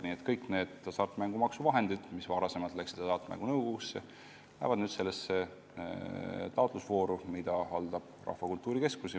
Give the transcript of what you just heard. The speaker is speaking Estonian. Nii et kõik need hasartmängumaksu summad, mis varem läksid Hasartmängumaksu Nõukogu käsutusse, lähevad nüüd sellesse taotlusvooru, mida haldab Rahvakultuuri Keskus.